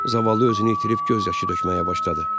Zavallı özünü itirib göz yaşı tökməyə başladı.